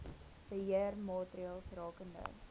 beheer maatreëls rakende